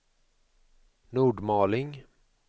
Nordmaling